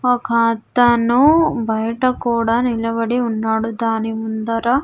ఒక అతను బయట కూడా నిలబడి ఉన్నాడు దాని ముందర.